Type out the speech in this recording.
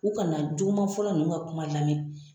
U kana juguman fɔla ninnu ka kuma lamɛn.